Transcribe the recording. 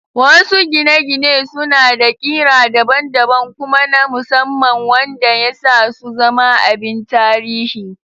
Wasu gine-gine suna da ƙira daban-daban kuma na musamman wanda ya sa su zama abin tarihi